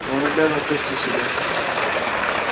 но он обязан спасти себя